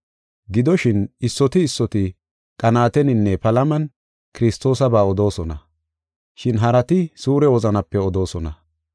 Gidoshin, issoti issoti qanaateninne palaman Kiristoosaba odoosona, shin harati suure wozanape odoosona.